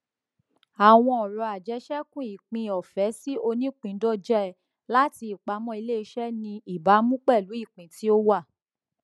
àwọn ọrọ ajésekú ìpín ọfẹ sí onípìndóje láti ìpamọ iléiṣẹ ní ìbámu pẹlú ìpín tí ó wà